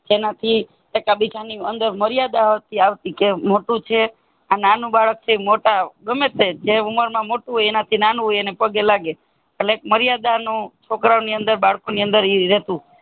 એના થી એકા બીજા અંદર મર્યાદા આવતી કહે મોટું છે આ નાનું બાળક છે મોટા ગમેતે જે ઉંમર માં મોટું હોય એના થી નાનું હોય એના પગે લાગે છે એટલે મર્યાદા નું છોકરા ઓને અંદરબાળકો ની અંદર ઇ હતું